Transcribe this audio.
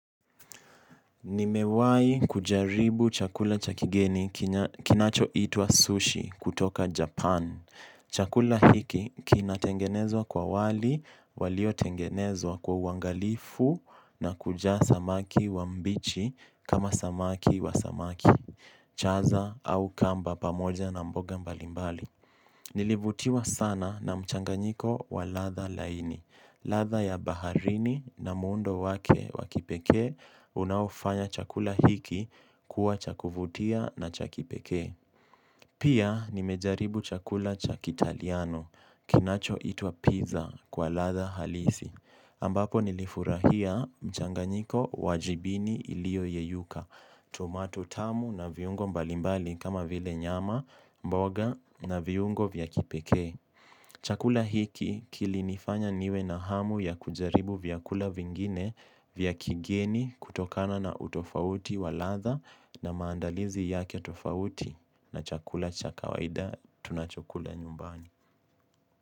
Nimewahi kujaribu chakula cha kigeni kinacho itwa sushi kutoka Japan. Chakula hiki kina tengenezwa kwa wali, walio tengenezwa kwa uangalifu na kujaa samaki wa mbichi kama samaki wa samaki. Chaza au kamba pamoja na mboga mbalimbali. Nilivutiwa sana na mchanganyiko wa ladha laini. Ladha ya baharini na muundo wake wa kipekee unaofanya chakula hiki kuwa cha kuvutia na cha kipekee. Pia nimejaribu chakula cha kitaliano kinacho itwa pizza kwa ladha halisi. Ambapo nilifurahia mchanganyiko wa jibini iliyo yeyuka tomato tamu na viungo mbalimbali kama vile nyama mboga na viungo vya kipekee. Chakula hiki kilinifanya niwe na hamu ya kujaribu vyakula vingine vya kigeni kutokana na utofauti wa ladha na maandalizi yake utofauti na chakula cha kawaida tunachokula nyumbani.